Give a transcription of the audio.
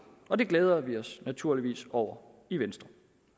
og det glæder vi os naturligvis over i venstre